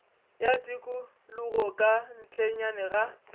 ya tikologo ka ntlenyana ga